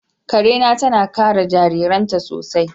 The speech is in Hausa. Ƙare na tana kare jirajiraainta sosai.